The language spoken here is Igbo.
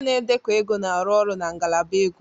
Onye na-edekọ ego na-arụ ọrụ na ngalaba ego